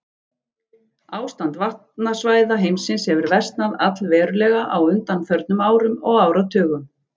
Ástand vatnasvæða heimsins hefur versnað allverulega á undanförnum árum og áratugum.